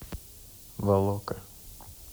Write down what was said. волока